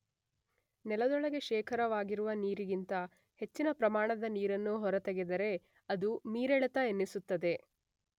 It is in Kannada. ನೆಲದೊಳಗೆ ಶೇಖರವಾಗಿರುವ ನೀರಿಗಿಂತ ಹೆಚ್ಚಿನ ಪ್ರಮಾಣದ ನೀರನ್ನು ಹೊರತೆಗೆದರೆ ಅದು ಮೀರೆಳೆತ ಎನ್ನಿಸುತ್ತದೆ.